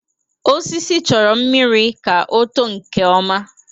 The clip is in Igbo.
Osisi chọrọ mmiri ka ọ too nke ọma